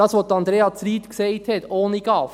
Zu dem, was Andrea Zryd gesagt hat: ohne GAV.